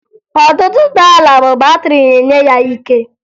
Ọtụtụ ụgbọala bụ batịrị na-enye ya ike